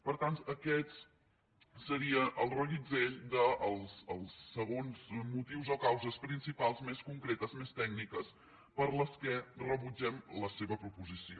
per tant aquest seria el reguitzell dels segons motius o causes principals més concretes més tècniques per les quals rebutgem la seva proposició